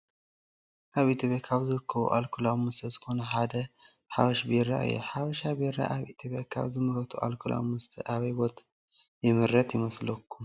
አብ ኢትዬጲያ ካብ ዝርከቡ አልኮላዊ መስተ ዝኮነ ሓደ ሓበሽ ቢራ እዩ ።ሓበሻ ቢራ አብ ኢትዮጲያ ካብ ዝምረቱ አልኮላዊ መስተ አበይ ቦታ ዝምረት ይመስለኩም ?